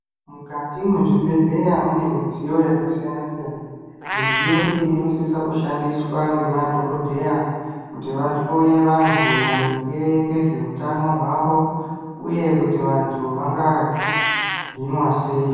Mukati mwezvibhedhleya mune midziyo yakasiyana siyana, midziyo iyi inosisa kushandiswa ngema dhokodheya kuti vahloye vantu maringe ngezveutano hwavo uye kuti vantu vanga hinwa sei.